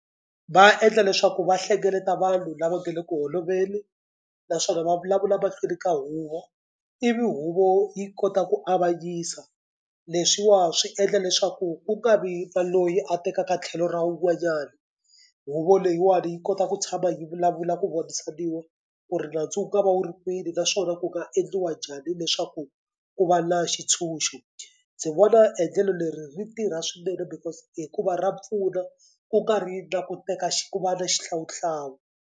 Va endla leswaku va hlengeleta vanhu lava nge le ku holoveli naswona va vulavula mahlweni ka huvo ivi huvo yi kota ku avanyisa leswiwa swi endla leswaku ku nga vi na loyi a tekaka tlhelo ra wun'wanyani. Huvo leyiwani yi kota ku tshama yi vulavula ku vonisaniwa ku ri nandzu wu nga va wu ri kwini naswona ku nga endliwa njhani leswaku ku va na xitshunxo. Ndzi vona endlelo leri ri tirha swinene because hikuva ra pfuna ku nga ri na ku teka ku vi na xihlawuhlawu.